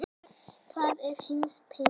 Hvað gera heimspekingar?